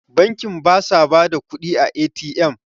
bankin ba sa ba da kudi a A.T.M?